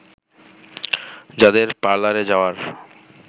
যাদের পার্লারে যাওয়ার